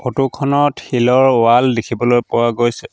ফটোখনত শিলৰ ৱাল দেখিবলৈ পোৱা গৈছে।